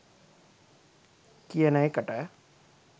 කියන එකට.